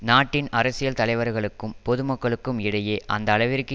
நாட்டின் அரசியல் தலைவர்களுக்கும் பொதுமக்களுக்கும் இடையே அந்த அளவிற்கு